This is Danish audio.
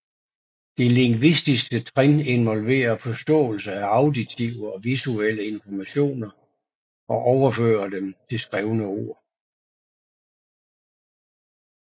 Det lingvistiske trin involverer forståelse af auditive og visuelle informationer og overføre dem til skrevne ord